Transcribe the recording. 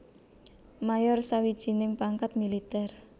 Mayor sawijining pangkat militèr